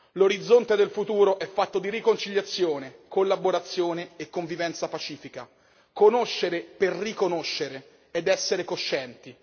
L'orizzonte del futuro è fatto di riconciliazione, collaborazione e convivenza pacifica. Conoscere per riconoscere ed essere coscienti.